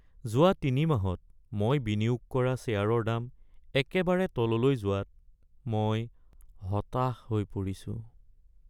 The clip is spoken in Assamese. যোৱা তিনিমাহত মই বিনিয়োগ কৰা শ্বেয়াৰৰ দাম একেবাৰে তললৈ যোৱাত মই হতাশ হৈ পৰিছো।